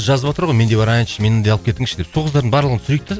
жазыватыр ғой мен де барайыншы мені де алып кетіңізші деп сол қыздардың барлығын түсірейік те